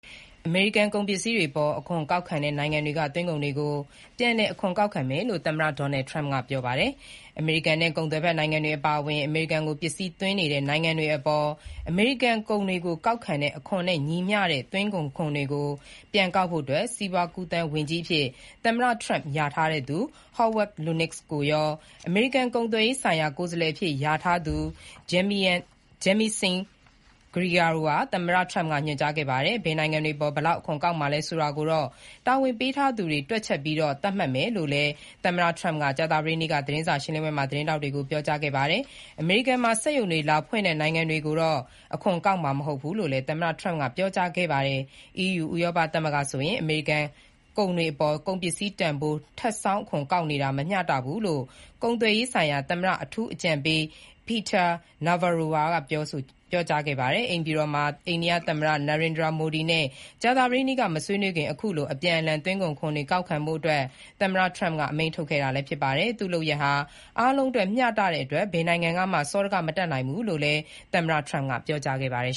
အမေရိကန်ကုန်ပစ္စည်းတွေအပေါ် အခွန်ကောက်တဲ့နိုင်ငံတွေကသွင်းကုန်တွေကို ပြန်လည်အခွန်ကောက်ခံမယ် လို့ သမ္မတ Donald Trump က ကြေညာခဲ့ပါတယ်။ အမေရိကန်နဲ့ ကုန်သွယ်ဘက်နိုင်ငံတွေအပါအဝင် အမေရိကန်ကိုပစ္စည်းသွင်းနေတဲ့နိုင်ငံတွေအပေါ် အမေရိကန်ကုန်တွေကိုကောက်တဲ့အခွန်နဲ့ ညီမျှတဲ့သွင်းကုန်ခွန်တွေ ပြန်ကောက်ဖို့ စီးပွားကူးသန်းဝန်ကြီးအဖြစ် သမ္မတ Trump လျာထားသူ Howard Lutnick ကိုရော အမေရိကန်ကုန်သွယ်ရေးဆိုင်ရာ ကိုယ်စားလှယ်အဖြစ် လျာထားသူ Jamieson Greer ကိုပါ သမ္မတ Trump ကညွှန်ကြားခဲ့ပါတယ်။ ဘယ်နိုင်ငံတွေအပေါ် ဘယ်လောက် အခွန်ကောက်မှာလဲဆိုတာကိုတော့ တာဝန်ပေးထားသူတွေ တွက်ချက်ပြီး သတ်မှတ်မယ်လို့လည်း သမ္မတ Trump က ကြာသပတေးနေ့က သတင်းစာရှင်းပွဲမှာ သတင်းထောက်တွေကို ပြောကြားခဲ့ပါတယ်။ အမေရိကန်မှာ စက်ရုံတွေလာဖွင့်တဲ့နိုင်ငံတွေကိုတော့ အခွန်ကောက်မှာ မဟုတ်ဘူးလို့လည်း သမ္မတက ပြောကြားခဲ့ပါတယ်။ EU ဥရောပသမဂ္ဂဆိုရင် အမေရိကန်ကုန်တွေကို ကုန်ပစ္စည်းတန်ဖိုးအပေါ် ထပ်ဆောင်းအခွန်ကောက်နေတာ မမျှတဘူးလို့ ကုန်သွယ်ရေးဆိုင်ရာ သမ္မတအထူးအကြံပေး Peter Navarro ကလည်း ပြောကြားခဲ့ပါတယ်။ အိမ်ဖြူတော်မှာ အိန္ဒိယသမ္မတ Narendra Modi နဲ့ ကြာသပတေးနေ့က မဆွေးနွေးခင် ခုလို အပြန်အလှန် သွင်းကုန်ခွန်တွေ ကောက်ခံဖို့ သမ္မတ Trump ကအမိန့်ထုတ်ခဲ့တာဖြစ်ပါတယ်။ သူ့လုပ်ရပ်ဟာ အားလုံးအတွက် မျှတတဲ့အတွက် ဘယ်နိုင်ငံကမှ စောဒက မတက်နိုင်ဘူးလို့လည်း သမ္မတ Trump ကပြောကြားခဲ့ပါတယ်